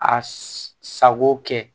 A sago kɛ